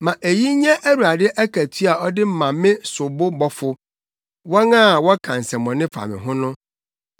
Ma eyi nyɛ Awurade akatua a ɔde ma me sobobɔfo, wɔn a wɔka nsɛmmɔne fa me ho no.